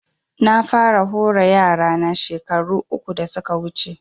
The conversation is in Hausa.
Na fara hore yara na shekaru uku da suka wuce